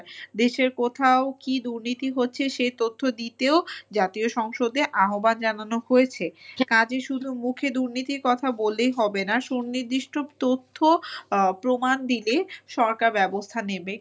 দেশের কোথাও কী দুর্নীতি হচ্ছে সে তথ্য দিতেও জাতীয় সংসদে আহ্বান জানানো হয়েছে। কাজে শুধু মুখে দুর্নীতির কথা বললেই হবে না, সুনির্দিষ্ট তথ্য প্রমাণ দিলে সরকার ব্যবস্থা নেবে।